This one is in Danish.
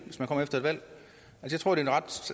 jeg tror det